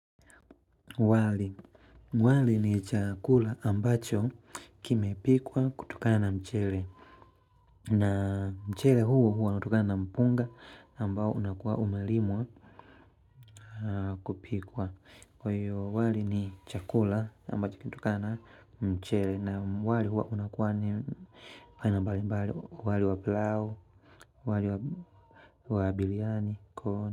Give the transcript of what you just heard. Wali ni chakula ambacho kime pikwa kutokana na mchele. Na mchele huu huwaunatokana na mpunga ambao unakuwa umelimwa kupikwa. Kwa hiyo wali ni chakula ambacho kinatokana na mchele na wali huo unakuwa ni wali wa pilau, wali wa biriani, corn.